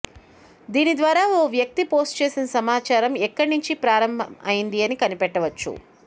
దీని ద్వారా ఓ వ్యక్తి పోస్ట్ చేసిన సమాచారం ఎక్కడ నుంచి ప్రారంభం అయ్యిందని కనిపెట్టవచ్చు